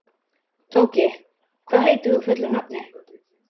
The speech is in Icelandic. Tóki, hvað heitir þú fullu nafni?